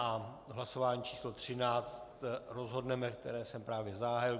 A v hlasování číslo 13 rozhodneme, které jsem právě zahájil.